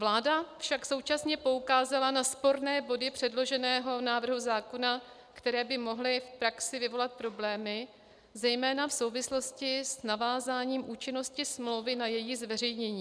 Vláda však současně poukázala na sporné body předloženého návrhu zákona, které by mohly v praxi vyvolat problémy zejména v souvislosti s navázáním účinnosti smlouvy na její zveřejnění.